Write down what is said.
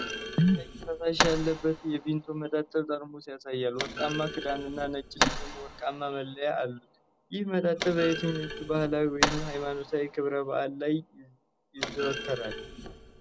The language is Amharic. ምስሉ ጥቁር ቀይ ፈሳሽ ያለበትን የቪምቶ መጠጥ ጠርሙስ ያሳያል። ወርቃማ ክዳንና ነጭ እንዲሁም ወርቃማ መለያዎች አሉት። ይህ መጠጥ በየትኞቹ ባህላዊ ወይም ሃይማኖታዊ ክብረ በዓላት ላይ ይዘወተራል?